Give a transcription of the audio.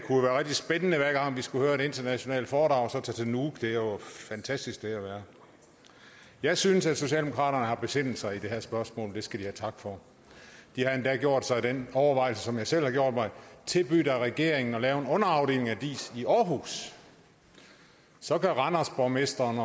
rigtig spændende hver gang vi skulle høre et internationalt foredrag så at tage til nuuk det er jo et fantastisk sted at være jeg synes at socialdemokraterne har besindet sig i det her spørgsmål og det skal de have tak for de har endda gjort sig den overvejelse som jeg selv har gjort mig at tilbyde regeringen at lave en underafdeling af diis i aarhus så kan randersborgmesteren